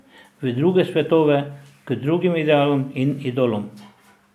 V druge svetove, k drugim idealom in idolom.